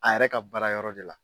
A yɛrɛ ka baara yɔrɔ de la